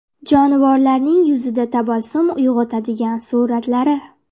Jonivorlarning yuzda tabassum uyg‘otadigan suratlari.